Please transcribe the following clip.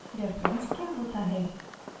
reference क्या होता है